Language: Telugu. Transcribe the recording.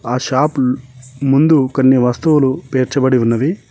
ఆ షాపు ముందు కొన్ని వస్తువులు పేర్చబడి ఉన్నవి.